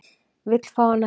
Vill fá hana heim